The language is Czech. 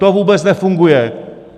To vůbec nefunguje.